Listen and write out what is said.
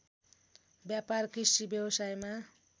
व्यापार कृषि व्यवसायमा